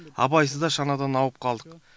абайсызда шанадан ауып қалдық